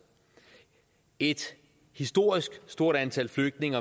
et historisk stort antal flygtninge